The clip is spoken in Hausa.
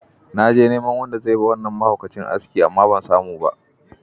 Na je neman wanda zai yi wa wannan mahaukacin aski amma ban samu ba.